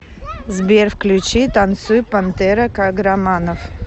сбер включи танцуй пантера каграманов